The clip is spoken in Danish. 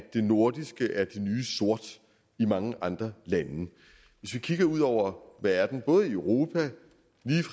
det nordiske er det nye sort i mange andre lande hvis vi kigger ud over verden både europa